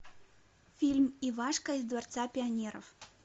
фильм ивашка из дворца пионеров